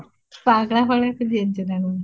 ପାଗଳା ଭଳିଆ ହେଇ ସାରିଲଣି